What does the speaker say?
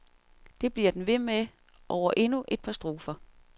Det bliver den ved med over endnu et par strofer.